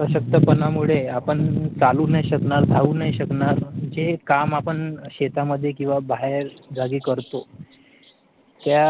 अशक्तपणा मुळे आपण चालू नाही शकणार धावू नये शकणार जे काम आपण शेता मध्ये किंवा बाहेर जागी करतो त्या